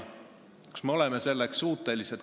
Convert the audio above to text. Kas me oleme selleks suutelised?